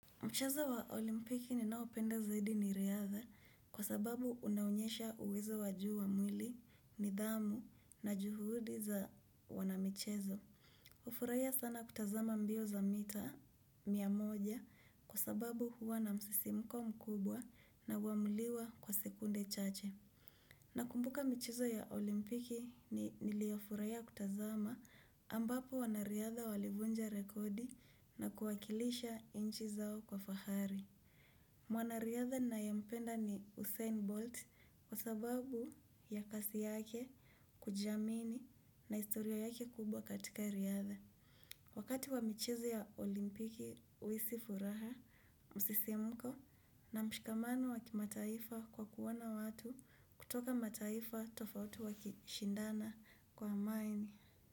Mchezo wa olimpiki ninaopenda zaidi ni riadha kwa sababu unaonyesha uwezo wa juu wa mwili, nidhamu na juhudi za wanamichezo. Ufuraia sana kutazama mbio za mita mia moja kwa sababu huwa na msisimuko mkubwa na huamuliwa kwa sekunde chache. Nakumbuka michezo ya olimpiki niliofuraia kutazama ambapo wanariadha walivunja rekodi na kuwakilisha inchi zao kwa fahari. Mwanariadha ninayempenda ni Usain Bolt kwa sababu ya kasi yake kujiamini na historia yake kubwa katika riadha. Wakati wa michezo ya olimpiki uisi furaha, msisimuko na mshikamano wa kimataifa kwa kuona watu kutoka mataifa tofauti wakishindana kwa amani.